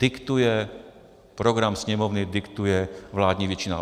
Diktuje program Sněmovny, diktuje vládní většina.